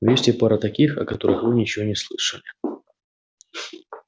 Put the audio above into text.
но есть и пара таких о которых вы ничего не слышали